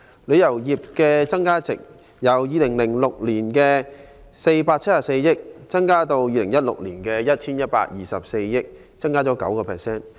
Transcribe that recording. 旅遊業的增加值，由2006年的474億港元上升至2016年的 1,124 億港元，升幅為 9%。